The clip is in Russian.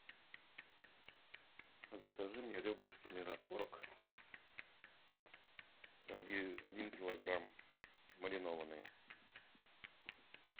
закажи мне ребрышки мираторг один килограмм маринованные